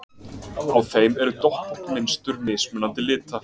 Á þeim eru doppótt mynstur mismunandi lita.